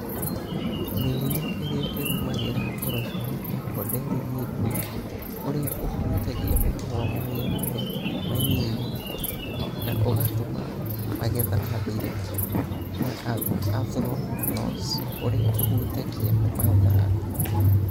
Mĩrimũ ĩrĩa ĩgumagĩra ngoroco nĩ ta poderĩ mĩldwĩ (ũrĩa ũhutagia mahũa marĩa marĩ manyinyi na ũgatũma magetha mathire) na anthraknose (ũrĩa ũhutagia mathangũ).